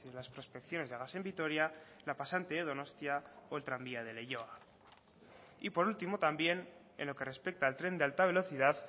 las prospecciones de gas en vitoria la pasante de donostia o el tranvía de leioa y por último también en lo que respecta al tren de alta velocidad